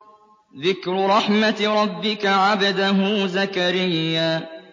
ذِكْرُ رَحْمَتِ رَبِّكَ عَبْدَهُ زَكَرِيَّا